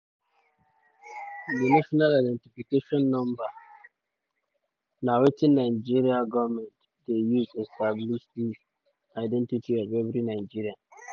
di national identification number (nin) na wetin nigeria goment dey use establish di identity of every nigerian.